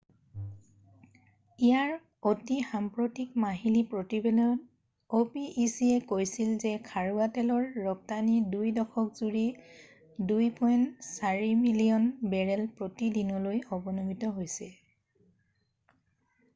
ইয়াৰ অতি সাম্প্ৰতিক মাহিলী প্ৰতিবেদনত opec য়ে কৈছিল যে খাৰুৱা তেলৰ ৰপ্তানি 2 দশক জুৰি 2.8 মিলিয়ন বেৰেল প্ৰতি দিনলৈ অৱনমিত হৈছে